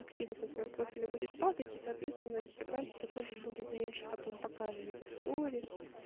активность на твоём профиле будет падать и соответственно инстаграм тебя тоже будет меньше потом показывать и сториз